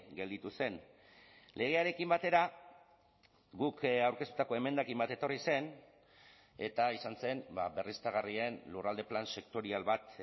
gelditu zen legearekin batera guk aurkeztutako emendakin bat etorri zen eta izan zen berriztagarrien lurralde plan sektorial bat